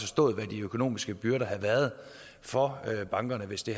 stået hvad de økonomiske byrder havde været for bankerne hvis det